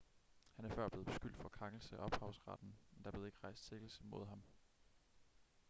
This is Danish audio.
han er før blevet beskyldt for krænkelse af ophavsretten men der blev ikke rejst sigtelse mod ham